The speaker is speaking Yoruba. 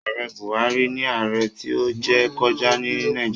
Ààrẹ Buhari ni ààrẹ tí ó jẹ kọjá ní Nàìjíríà.